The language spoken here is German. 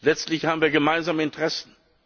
Letztlich haben wir gemeinsame Interessen.